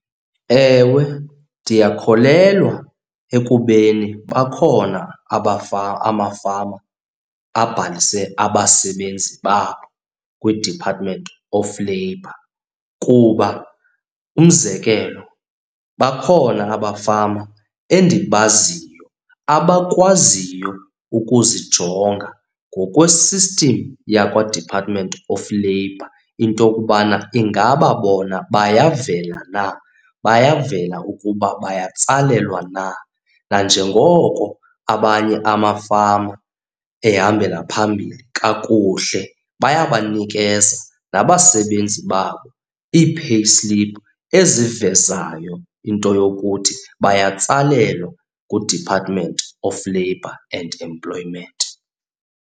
Ewe, ndiyakholelwa ekubeni bakhona amafama abhalise abasebenzi babo kwiDepartment Of Labour. Kuba umzekelo, bakhona abafama endibaziyo abakwaziyo ukuzijonga ngokwe-system yakwaDepartment Of Labour into yokubana ingaba bona bayavela na, bayavela ukuba bayatsalelwa na. Nanjengoko abanye amafama ehambela phambili kakuhle, bayabanikeza nabo basebenzi babo ii-payslip ezivezayo into yokuthi bayatsalalelwa nguDepartment Of Labour and Employment.